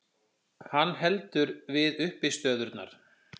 Hann heldur við uppistöðurnar.